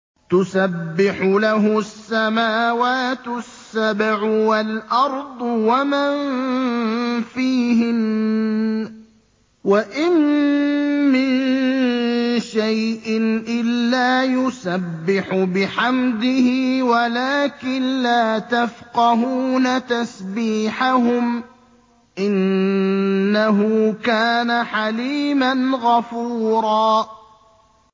تُسَبِّحُ لَهُ السَّمَاوَاتُ السَّبْعُ وَالْأَرْضُ وَمَن فِيهِنَّ ۚ وَإِن مِّن شَيْءٍ إِلَّا يُسَبِّحُ بِحَمْدِهِ وَلَٰكِن لَّا تَفْقَهُونَ تَسْبِيحَهُمْ ۗ إِنَّهُ كَانَ حَلِيمًا غَفُورًا